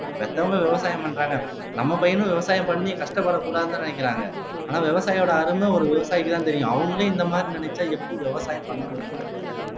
பெத்தவங்க விவசாயம் பண்றாங்க நம்ம பையனும் விவசாயம் பண்ணி கஷ்டப்படக்கூடாதுன்னுதான் நினைக்கிறாங்க ஆனா விவசாயியோட அருமை ஒரு விவசாயிக்குத்தான் தெரியும் அவங்களே இந்த மாதிரி நினைச்சா எப்படி விவசாயம் பண்ண முடியும் இந்த இடத்துல